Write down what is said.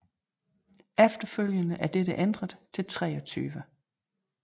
Efterfølgende er dette ændret til 23